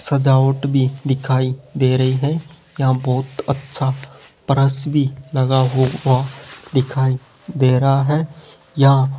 सजावट भी दिखाई दे रही है यहां बहुत अच्छा पर्स भी लगा हुआ दिखाई दे रहा है यहां --